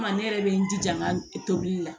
Kuma ne yɛrɛ bɛ n jija n ka tobili la